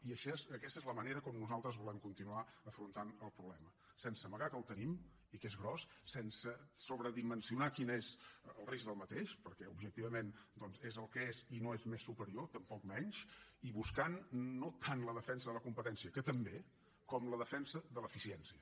i aquesta és la manera com nosaltres volem continuar afrontant el problema sense amagar que el tenim i que és gran sense sobredimensionar quin és el risc d’aquest problema perquè objectivament és el que és i no és més superior tampoc menys i buscant no tant la defensa de la competència que també com la defensa de l’eficiència